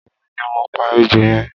Emi ni mo pa ejò yẹn